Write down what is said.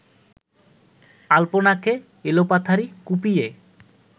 আল্পনাকে এলোপাথাড়ি কুপিয়ে